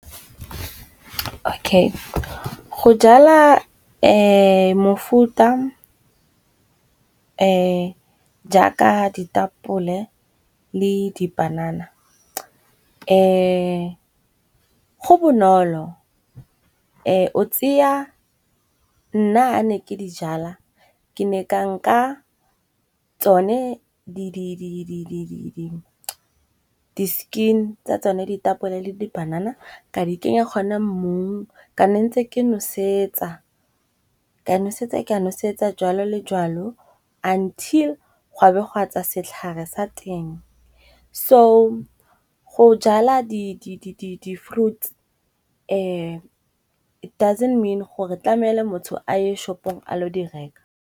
OK go jala mofuta jaaka ditapole le dipanana, go bonolo nna ha ne ke dijala ke ne ka nka tsone di-skin tsa tsone ditapole le di banana. Ka di kenya gona mo ka nne ntse ke nosetsa, ka nosetsa ka nosetsa jalo le jalo until go a be ga tswa setlhare sa teng. So go jala di-fruits it doesn't mean gore tlamele motho a ye shopong a lo di reka.